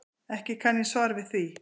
Ekki kann ég svar við því.